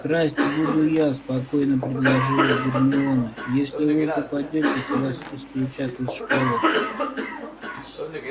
красть буду я спокойно предложила гермиона если вы попадётесь вас исключат из школы